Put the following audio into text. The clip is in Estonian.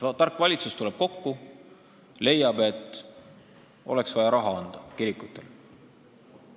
Tark valitsus tuleb kokku ja leiab, et oleks vaja raha anda kirikutele.